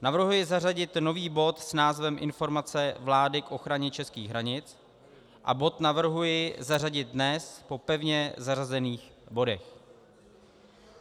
Navrhuji zařadit nový bod s názvem Informace vlády k ochraně českých hranic a bod navrhuji zařadit dnes po pevně zařazených bodech.